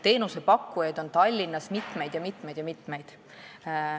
Teenusepakkujaid on Tallinnas mitmeid ja mitmeid ja mitmeid.